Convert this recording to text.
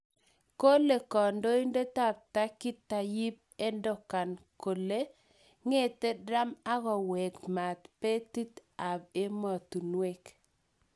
kole Kondoindet ap turkey Tayyip Erdogan. Kole ngete trump agowek maat peteit ap emotinwek.